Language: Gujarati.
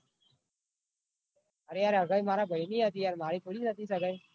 અરે યાર હંગાઇ મારા ભાઈ ઈ હતી યાર મારી થોડી હતી સગાઇ.